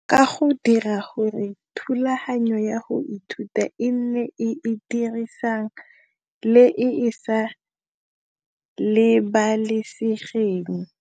Ka go dira gore thulaganyo ya go ithuta e nne e e dirisang le e sa lebalesegeng.